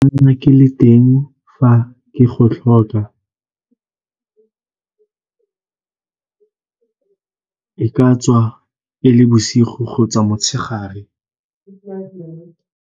ke le teng fa ke go tlhoka, e ka tswa e le bosigo kgotsa motshegare.